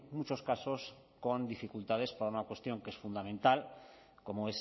muchos casos con dificultades para una cuestión que es fundamental como